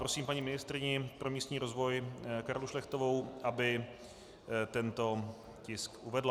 Prosím paní ministryni pro místní rozvoj Karlu Šlechtovou, aby tento tisk uvedla.